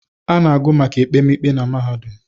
A na-agụ maka ekpemikpe na mahadụm